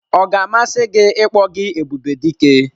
Ọ ga-amasị gị ịkpọ gị Ebubedike?